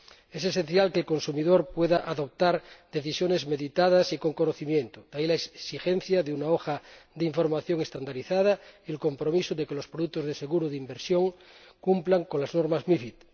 Es esencial que el consumidor pueda adoptar decisiones meditadas y con conocimiento, de ahí la exigencia de una hoja de información estandarizada y el compromiso de que los productos de seguro de inversión cumplan con las normas MiFID.